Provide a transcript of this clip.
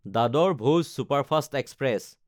দাদৰ–ভোজ superfast express